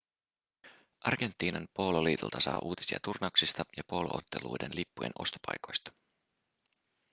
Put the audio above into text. argentiinan poololiitolta saa uutisia turnauksista ja poolo-otteluiden lippujen ostopaikoista